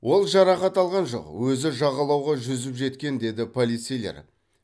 ол жарақат алған жоқ өзі жағалауға жүзіп жеткен деді полицейлер